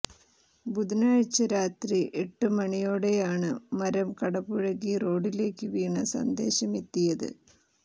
ബുധനാഴ്ച രാത്രി എട്ടു മണിയോടെയാണ് മരം കടപുഴകി റോഡിലേക്ക് വീണ സന്ദേശമെത്തിയത്